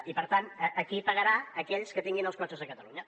i per tant aquí pagaran aquells que tinguin els cotxes a catalunya